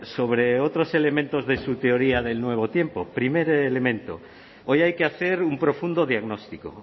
sobre otros elementos de su teoría del nuevo tiempo primer elemento hoy hay que hacer un profundo diagnóstico